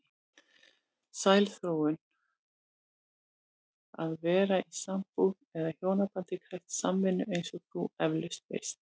Sæl Þórunn, að vera í sambúð eða hjónabandi krefst samvinnu eins og þú efalaust veist.